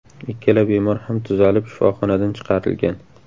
Ikkala bemor ham tuzalib, shifoxonadan chiqarilgan.